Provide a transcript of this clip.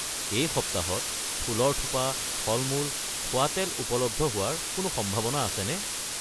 এই সপ্তাহত ফুলৰ থোপা ,ফলমূল ,খোৱা তেল উপলব্ধ হোৱাৰ কোনো সম্ভাৱনা আছেনে ?